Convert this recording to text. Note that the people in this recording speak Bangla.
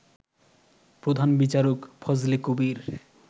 প্রধান বিচারক ফজলে কবীর